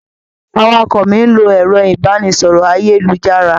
Awakọ̀ mi n lo ẹrọ ibanisọrọ ayelujara.